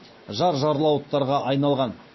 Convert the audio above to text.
жар жарлауыттарға айналған